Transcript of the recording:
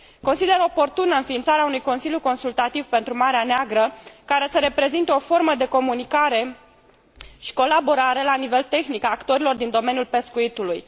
Consider oportună înființarea unui consiliu consultativ pentru Marea Neagră, care să reprezinte o formă de comunicare și colaborare la nivel tehnic a actorilor din domeniul pescuitului.